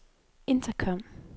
intercom